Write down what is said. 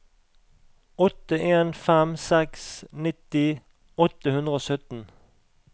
åtte en fem seks nitti åtte hundre og sytten